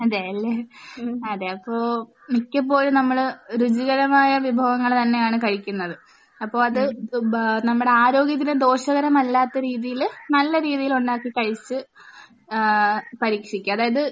അതെയല്ലേ. അതെ. അപ്പോൾ മിക്കപ്പോഴും നമ്മൾ രുചികരാമായ വിഭവങ്ങൾ തന്നെയാണ് കഴിക്കുന്നത്. അപ്പോൾ അത് ബ് നമ്മുടെ ആരോഗ്യത്തിന് ദോഷകരമല്ലാത്ത രീതിയിൽ നല്ല രീതിയിൽ ഉണ്ടാക്കി കഴിച്ച് ഏഹ് പരീക്ഷിക്കുക. അതായത്